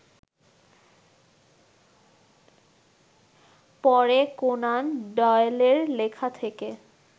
পরে কোনান ডয়েলের লেখা থেকে